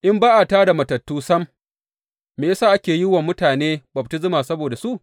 In ba a tā da matattu sam, me ya sa ake yin wa mutane baftisma saboda su?